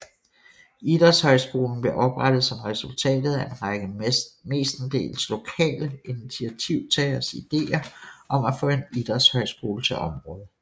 Idrætshøjskolen blev oprettet som resultatet af en række mestendels lokale initiativtageres ideer om at få en idrætshøjskole til området